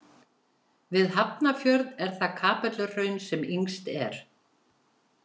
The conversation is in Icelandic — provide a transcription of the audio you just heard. Við Hafnarfjörð er það Kapelluhraun sem yngst er.